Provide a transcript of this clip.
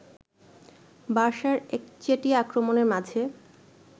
বার্সার একচেটিয়া আক্রমণের মাঝে